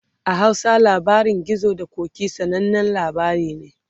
a Hausa labarin gizo da ƙoki, sananan labari ne